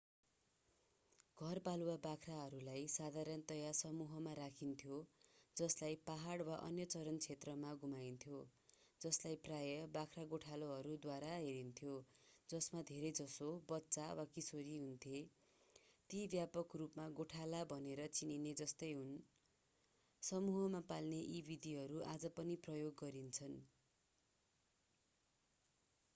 घरपालुवा बाख्राहरूलाई साधारणतया समूहमा राखिन्थ्यो जसलाई पहाड वा अन्य चरन क्षेत्रहरूमा घुमाइन्थ्यो जसलाई प्रायः बाख्रा गोठालाहरूद्वारा हेरिन्थ्यो जसमा धेरैजसो बच्चा वा किशोर हुन्थे ती व्यापक रूपमा गोठाला भनेर चिनिने जस्तै हुन् समूहमा पाल्ने यी विधिहरू आज पनि प्रयोग गरिन्छन्